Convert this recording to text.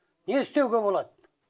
не істеуге болады